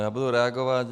Já budu reagovat.